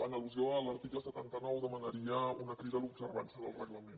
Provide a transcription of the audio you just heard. en al·lusió a l’article setanta nou demanaria una crida a l’observança del reglament